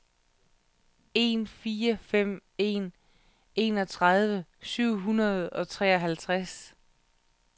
en fire fem en enogtredive syv hundrede og treoghalvfjerds